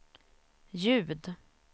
ljud